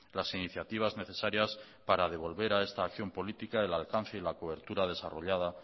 las iniciativas necesarias para devolver a esta acción política el alcance y la cobertura desarrolla